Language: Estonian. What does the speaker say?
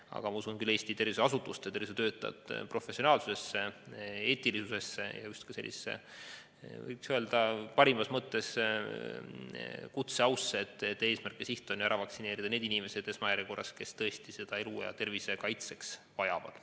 Aga mina usun küll Eesti tervishoiuasutuste ja tervishoiutöötajate professionaalsusesse, eetilisusesse ja parimas mõttes kutseausse, et eesmärk on ju vaktsineerida esmajärjekorras need inimesed, kes tõesti seda elu ja tervise kaitseks vajavad.